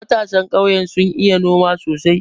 Matasan ƙauye sun iya noma sosai.